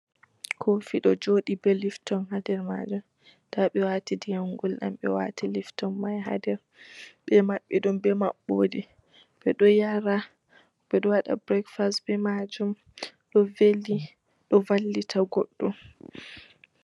Kofi ɗo joɗi be lifton ha nder Majum nda ɓe wati Ndiyam gulɗam ɓe wati lifton man ha Nder, ɓe maɓɓi ɗumbbe maɓɓode ɓeɗo yara ɓeɗo waɗa breakfast be Majum ɗo veli ɗo vallita goɗɗo.